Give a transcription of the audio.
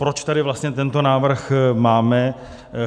Proč tady vlastně tento návrh máme?